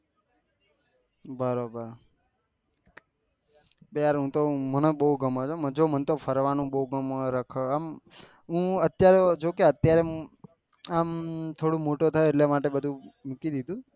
બરોબર મને તો બહુ ગમે છે જો મને ફરવાનું બહુ ગમે રખડવાનું અમ હું અત્યારે આમ થોડું મોટું થયો એટલે માટે બધું મૂકી દીધું